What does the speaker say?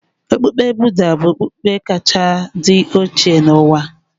Okpukpe Budha bụ okpukpe kachasị dị oche n'ụwa.